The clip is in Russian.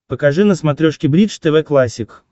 покажи на смотрешке бридж тв классик